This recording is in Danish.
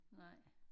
Nej